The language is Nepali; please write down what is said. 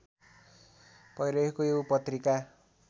भइरहेको यो पत्रिका